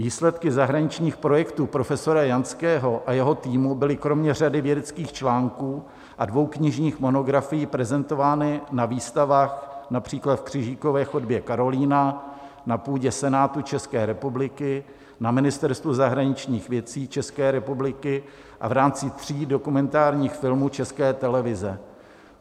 Výsledky zahraničních projektů profesora Janského a jeho týmu byly kromě řady vědeckých článků a dvou knižních monografií prezentovány na výstavách, například v Křížové chodbě Karolina, na půdě Senátu České republiky, na Ministerstvu zahraničních věcí České republiky, a v rámci tří dokumentárních filmů České televize.